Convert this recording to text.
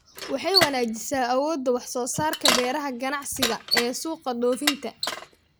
Waxay wanaajisaa awoodda wax-soo-saarka beeraha ganacsiga ee suuqa dhoofinta.